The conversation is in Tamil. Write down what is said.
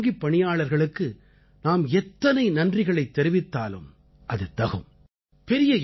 அப்படிப்பட்ட வங்கிப் பணியாளர்களுக்கு நாம் எத்தனை நன்றிகளைத் தெரிவித்தாலும் அது தகும்